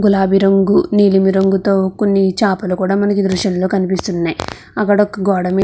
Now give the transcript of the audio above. గులాబీ రంగు నీలిరంగు తో కొన్ని చాపలు కూడా మనకి ఈ దృశంలో కనిపిస్తున్నాయి అక్కడ ఒక గోడ మీ --